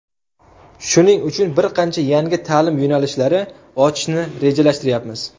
Shuning uchun bir qancha yangi ta’lim yo‘nalishlari ochishni rejalashtiryapmiz.